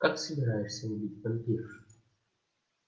как собираешься убить вампиршу